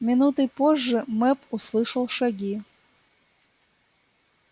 минутой позже мэп услышал шаги